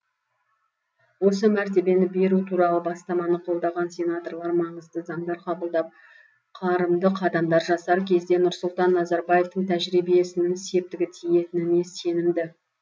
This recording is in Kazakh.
осы мәртебені беру туралы бастаманы қолдаған сенаторлар маңызды заңдар қабылдап қарымды қадамдар жасар кезде нұрсұлтан назарбаевтың тәжірибесінің септігі тиетініне сенімді